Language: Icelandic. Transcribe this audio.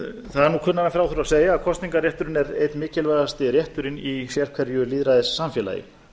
kunnara en frá þurfi að segja að kosningarrétturinn er einn mikilvægasti rétturinn í sérhverju lýðræðissamfélagi en